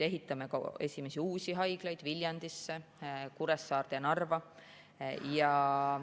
Ehitame ka esimesi uusi haiglaid: Viljandisse, Kuressaarde ja Narva.